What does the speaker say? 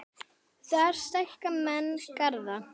Þar stækka menn garða.